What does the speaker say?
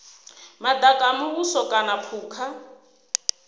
madaka a muvhuso kana phukha